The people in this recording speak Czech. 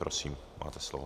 Prosím, máte slovo.